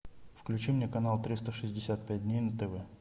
включи мне канал триста шестьдесят пять дней на тв